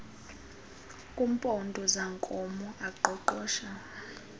kumpondo zankomo aqoqosha